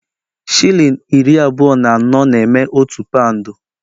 Shilling iri abụọ na anọ na-eme otu paụnd